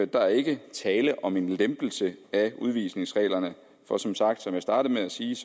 der er ikke tale om en lempelse af udvisningsreglerne for som sagt og som jeg startede med at sige